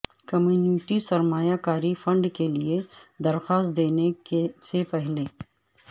community سرمایہ کاری fund کے لئے درخواست دینے سے پہلے